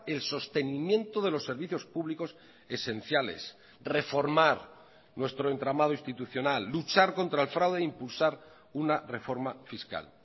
el sostenimiento de los servicios públicos esenciales reformar nuestro entramado institucional luchar contra el fraude impulsar una reforma fiscal